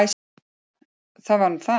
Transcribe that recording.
Það var nú það!